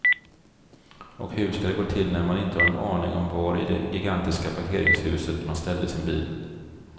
Och hur ska det gå till när man inte har en aning om var i det gigantiska parkeringshuset man ställde sin bil.